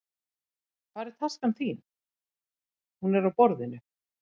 Hvar er taskan þín? Hún er á borðinu.